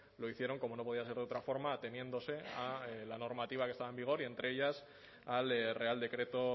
lo hicieron como no podía ser de otra forma ateniéndose a la normativa que estaba en vigor y entre ellas al real decreto